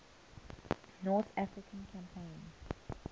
north african campaign